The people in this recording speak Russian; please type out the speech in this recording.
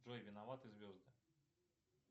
джой виноваты звезды